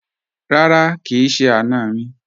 Rárá, kì í ṣe àna mi